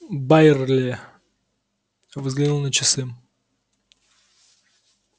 байерли взглянул на часы